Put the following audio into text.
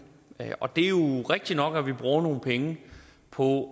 og det er jo rigtigt nok at vi bruger nogle penge på